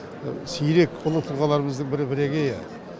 сирек ұлы тұлғаларымыздың бірі бірегейі